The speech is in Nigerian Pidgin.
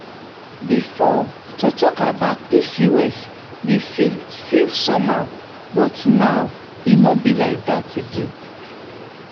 before to talk about pcos dey feel feel somehow but now e no be like that again.